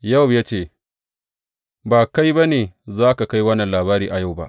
Yowab ya ce, Ba kai ba ne za ka kai wannan labari a yau ba.